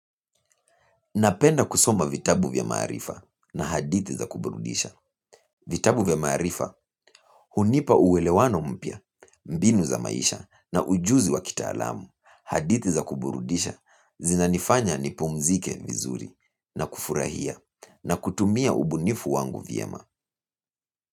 Napenda kusoma vitabu vya maarifa na hadithi za kuburudisha. Vitabu vya marifa, hunipa uwelewano mpya, mbinu za maisha na ujuzi wa kitalamu. Hadithi za kuburudisha zina nifanya nipumzike vizuri na kufurahia na kutumia ubunifu wangu vyema.